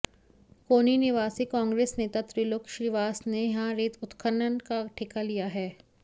कोनी निवासी कांग्रेस नेता त्रिलोक श्रीवास ने यहां रेत उत्खनन का ठेका लिया है